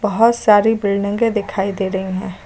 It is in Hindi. बहुत सारी बिल्डिंगें दिखाई दे रही हैं।